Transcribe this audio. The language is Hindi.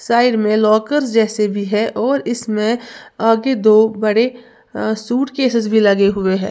साइड में लॉकर जैसे भी है और इसमें आगे दो बड़े अ सूट केसेस भी लगे हुए हैं।